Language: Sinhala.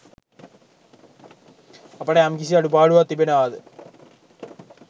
අපට යම්කිසි අඩුපාඩුවක් තිබෙනවාද